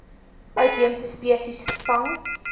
uitheemse spesies vervang